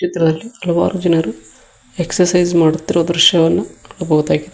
ಚಿತ್ರದಲ್ಲಿ ಹಲವಾರು ಜನರು ಎಕ್ಸರ್ಸೈಸ್ ಮಾಡುತ್ತಿರುವ ದೃಶ್ಯವನ್ನು ನೋಡಬಹುದಾಗಿದೆ.